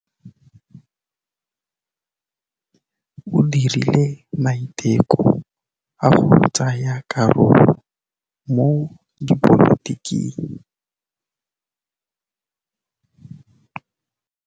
O dirile maitekô a go tsaya karolo mo dipolotiking.